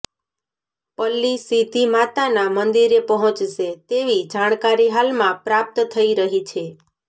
પલ્લી સીધી માતાના મંદિરે પહોંચશે તેવી જાણકારી હાલમાં પ્રાપ્ત થઈ રહી છે